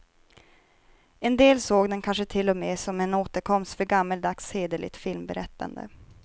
En del såg den kanske till och med som en återkomst för gammaldags hederligt filmberättande.